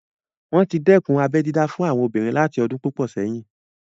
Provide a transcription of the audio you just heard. Wọ́n tí dẹ́kun abẹ́ dídá fún àwọn ọmọbìnrin láti ọdún púpọ̀ sẹ́yìn